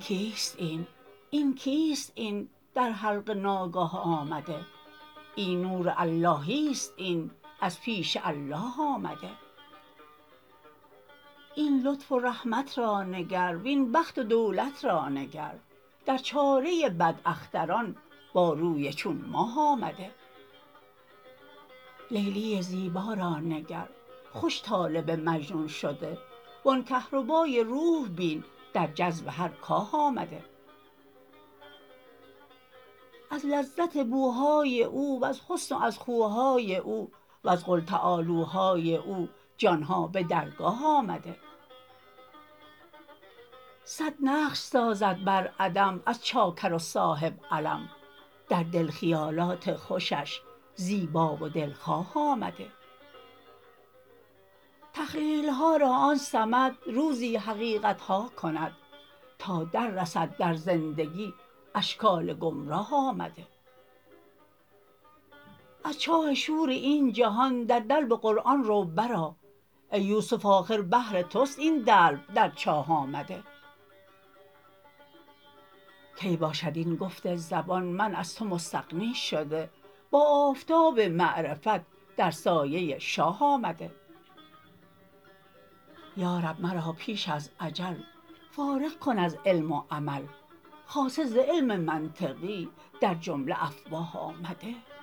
کیست این این کیست این در حلقه ناگاه آمده این نور اللهی است این از پیش الله آمده این لطف و رحمت را نگر وین بخت و دولت را نگر در چاره بداختران با روی چون ماه آمده لیلی زیبا را نگر خوش طالب مجنون شده و آن کهربای روح بین در جذب هر کاه آمده از لذت بوهای او وز حسن و از خوهای او وز قل تعالوهای او جان ها به درگاه آمده صد نقش سازد بر عدم از چاکر و صاحب علم در دل خیالات خوشش زیبا و دلخواه آمده تخییل ها را آن صمد روزی حقیقت ها کند تا دررسد در زندگی اشکال گمراه آمده از چاه شور این جهان در دلو قرآن رو برآ ای یوسف آخر بهر توست این دلو در چاه آمده کی باشد ای گفت زبان من از تو مستغنی شده با آفتاب معرفت در سایه شاه آمده یا رب مرا پیش از اجل فارغ کن از علم و عمل خاصه ز علم منطقی در جمله افواه آمده